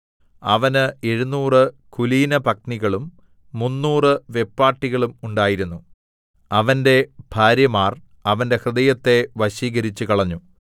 അവന് എഴുനൂറ് കുലീനപത്നികളും മുന്നൂറ് വെപ്പാട്ടികളും ഉണ്ടായിരുന്നു അവന്റെ ഭാര്യമാർ അവന്റെ ഹൃദയത്തെ വശീകരിച്ചുകളഞ്ഞു